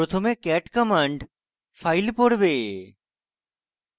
প্রথমে cat command file পড়বে